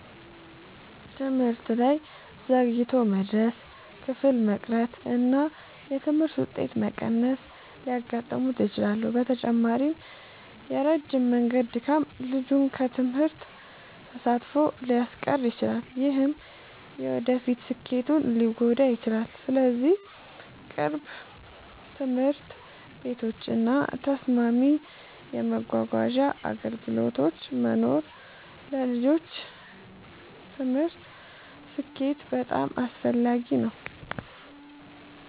ትምህርት ላይ ዘግይቶ መድረስ፣ ክፍል መቅረት እና የትምህርት ውጤት መቀነስ ሊያጋጥሙት ይችላሉ። በተጨማሪም የረጅም መንገድ ድካም ልጁን ከትምህርት ተሳትፎ ሊያስቀር ይችላል፣ ይህም የወደፊት ስኬቱን ሊጎዳ ይችላል። ስለዚህ ቅርብ ትምህርት ቤቶች እና ተስማሚ የመጓጓዣ አገልግሎቶች መኖር ለልጆች ትምህርታዊ ስኬት በጣም አስፈላጊ ነው።